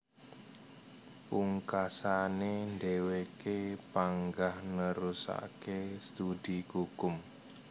Pungkasané dhèwèké panggah nerusaké studi kukum